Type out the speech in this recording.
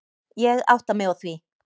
Ég átta mig á því.